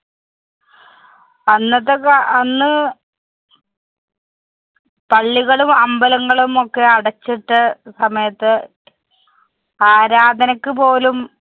അന്നത്തെ കാ~ അന്ന്~ പള്ളികളും അമ്പലങ്ങളും ഒക്കെ അടച്ചിട്ട സമയത്ത് ആരാധനയ്ക് പോലും